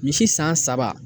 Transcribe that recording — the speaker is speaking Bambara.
Misi san saba.